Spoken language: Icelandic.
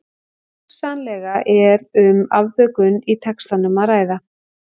Hugsanlega er um afbökun í textanum að ræða.